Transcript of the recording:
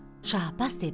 Şah Abbas dedi: